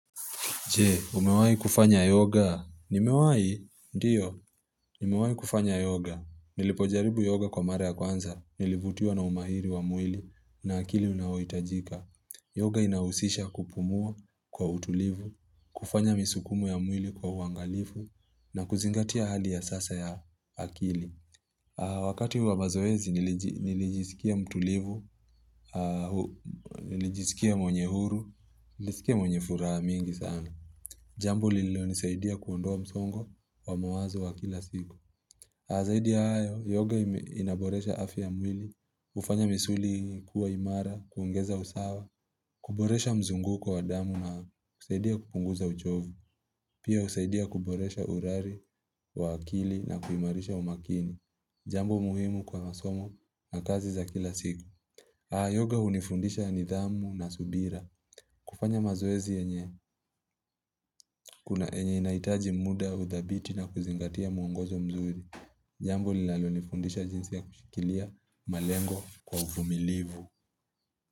Je, umewahi kufanya yoga? Nimewahi, ndiyo, nimewahi kufanya yoga. Nilipojaribu yoga kwa mara ya kwanza, nilivutiwa na umahiri wa mwili, na akili unayohitajika. Yoga inahusisha kupumua kwa utulivu, kufanya misukumo ya mwili kwa uangalifu, na kuzingatia hali ya sasa ya akili. Wakati wa mazoezi, nili nilijisikia mtulivu, nilijisikia mwenye huru, nilisikia mwenye furaha mingi sana. Jambo lililo nisaidia kuondoa msongo wa mawazo wa kila siku. Zaidi hayo, yoga ime inaboresha afya ya mwili, hufanya misuli kuwa imara, kuongeza usawa, kuboresha mzunguko wa damu na kusaidia kupunguza uchovu, pia husaidia kuboresha urari wa akili na kuimarisha umakini. Jambo muhimu kwa masomo na kazi za kila siku. Haa yoga unifundisha nidhamu na subira. Kufanya mazoezi yenye. Kuna enye inahitaji muda, udhabiti na kuzingatia muongozo mzuri. Jambo linalo nifundisha jinsi ya kushikilia malengo kwa vumilivu.